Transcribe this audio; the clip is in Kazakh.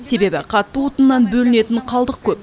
себебі қатты отыннан бөлінетін қалдық көп